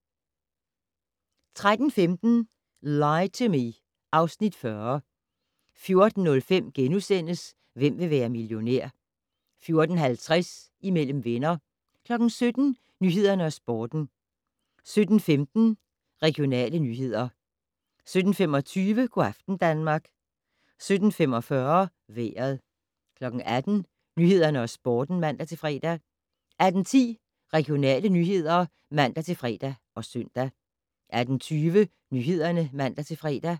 13:15: Lie to Me (Afs. 40) 14:05: Hvem vil være millionær? * 14:50: Imellem venner 17:00: Nyhederne og Sporten 17:15: Regionale nyheder 17:25: Go' aften Danmark 17:45: Vejret 18:00: Nyhederne og Sporten (man-fre) 18:10: Regionale nyheder (man-fre og søn) 18:20: Nyhederne (man-fre)